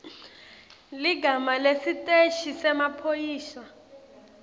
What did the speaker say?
ligama lesiteshi semaphoyisa